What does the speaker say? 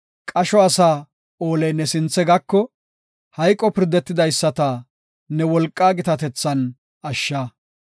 Qasho asaa ooley ne sinthe gako; hayqo pirdetidaysata ne wolqaa gitatethan ashsha.